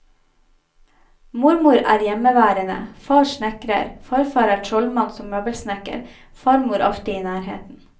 Mor er hjemmeværende, far snekrer, farfar er trollmann som møbelsnekker, farmor alltid i nærheten.